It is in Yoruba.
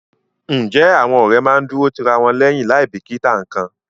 Ǹjẹ́ àwọn ọ̀rẹ́ máa ń dúró ti ra wọn lẹ́yìn láì bìkítà nǹkan?